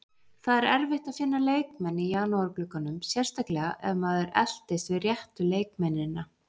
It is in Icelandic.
Það er erfitt að finna leikmenn í janúarglugganum, sérstaklega ef maður eltist við réttu leikmennina.